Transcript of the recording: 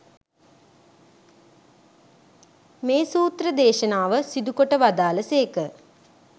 මේ සූත්‍ර දේශනාව සිදුකොට වදාළ සේක.